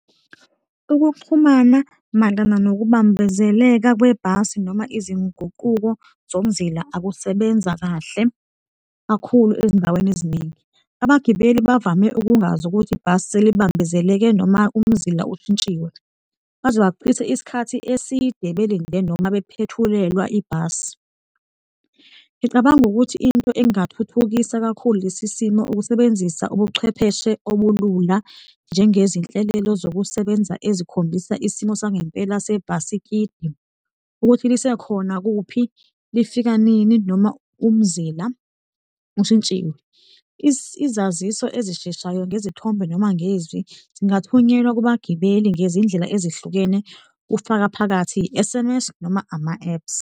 Ukuxhumana mayelana nokubambezeleka kwebhasi noma izinguquko zomzila akusebenza kahle kakhulu ezindaweni eziningi. Abagibeli bavame ukungazi ukuthi ibhasi selibambezeleke noma umzila ushintshiwe, baze bachithe isikhathi eside belinde noma bephethulelwa ibhasi. Ngicabanga ukuthi into engathuthukisa kakhulu lesi simo ukusebenzisa ubuchwepheshe obulula njengezinhlelelo zokusebenza ezikhombisa isimo sangempela sebhasikidi, ukuthi lisekhona? Kuphi? Lifika nini noma umzila ushintshile? Izaziso ezisheshayo ngezithombe noma ngezwi zingathunyelwa kubagibeli ngezindlela ezihlukene, kufaka phakathi i-S_M_S noma ama-apps.